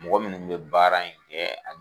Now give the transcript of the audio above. Mɔgɔ minnu bɛ baara in kɛ.